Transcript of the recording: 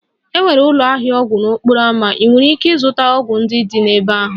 Enwere ụlọ ahịa ọgwụ n'okporo ámá, ị nwere ike ịzụta ọgwụ ndị dị n'ebe ahụ